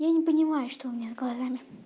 я не понимаю что у меня с глазами